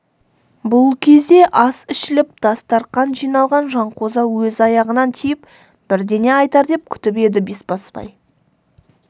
бұл кезде ас ішіліп дастарқан жиналған жанқожа өз аяғынан тиіп бірдеңе айтар деп күтіп еді бесбасбай